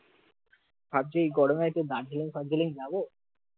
ভাবছি এই গরমে একটু দার্জিলিং ফারজিলিং যাব